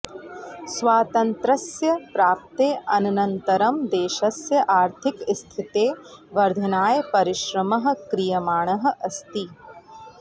स्वातन्त्र्यस्य प्राप्तेः अनन्तरं देशस्य आर्थिकस्थितेः वर्धनाय परिश्रमः क्रियमाणः अस्ति